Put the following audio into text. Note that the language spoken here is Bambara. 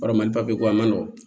Barama ko a ma nɔgɔn